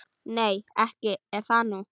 Nei, ekki er það nú.